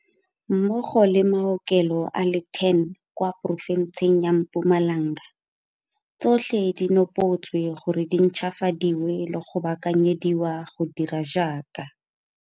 Mmogo le maokelo a le 10 kwa porofenseng ya Mpumalanga tsotlhe di nopotswe gore di ntšhwafadiwe le go baakanyediwa go dira jaaka.